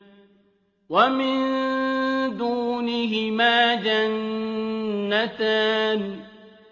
وَمِن دُونِهِمَا جَنَّتَانِ